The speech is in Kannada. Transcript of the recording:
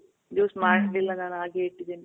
juice ಮಾಡ್ಲಿಲ್ಲ ನಾನು ಹಾಗೆ ಇಟ್ಟಿದಿನಿ.